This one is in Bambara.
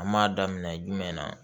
An m'a daminɛ jumɛn na